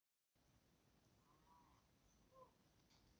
Waa maxay calaamadaha iyo calaamadaha dystrophyka muruqa Oculopharyngealka?